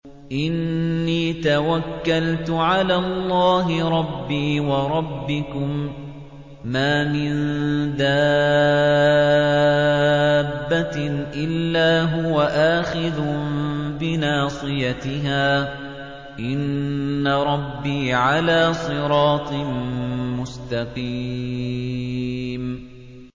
إِنِّي تَوَكَّلْتُ عَلَى اللَّهِ رَبِّي وَرَبِّكُم ۚ مَّا مِن دَابَّةٍ إِلَّا هُوَ آخِذٌ بِنَاصِيَتِهَا ۚ إِنَّ رَبِّي عَلَىٰ صِرَاطٍ مُّسْتَقِيمٍ